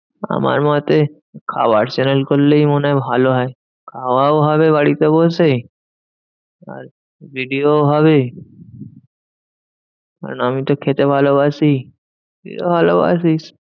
আমার মতে খাওয়ার channel করলেই মনে হয় ভালো হয়। খাওয়াও হবে বাড়িতে বসে আর video ও হবে। কারণ আমিতো খেতে ভালোবাসি, তুইও ভালোবাসিস।